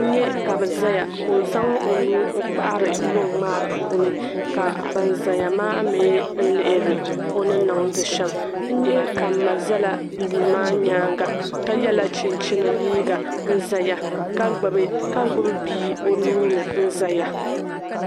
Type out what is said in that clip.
N-nyɛ ka bi zaya ko'zaŋ o nuu n-kpahiri luŋ maa puuni ka ban zaya mi liɣiri o ni niŋdi shɛm. N-nyɛ ka n-ma zala bi bil maa nyaanga ka yɛla chinchini liiga ka gbibi bii o nuu ni n-zaya.